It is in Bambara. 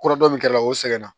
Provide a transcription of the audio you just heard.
Kura dɔ min kɛr'o la o sɛgɛnna